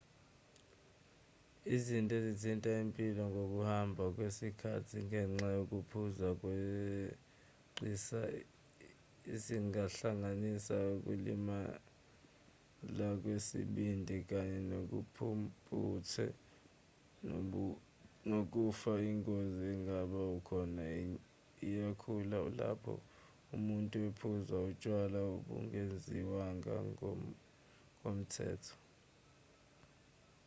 izinto ezithinta impilo ngokuhamba kwesikhathi ngenxa yokuphuza ngokweqisa zingahlanganisa ukulimala kwesibindi kanye nobumpumputhe nokufa ingozi engaba khona iyakhula lapho umuntu ephuza utshwala obungenziwanga ngokomthetho